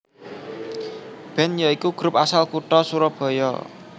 band ya iku grup asal kutha surabaya